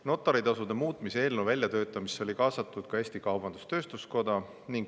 Notari tasu muutmise eelnõu väljatöötamisse oli kaasatud ka Eesti Kaubandus-Tööstuskoda.